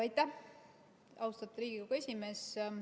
Aitäh, austatud Riigikogu esimees!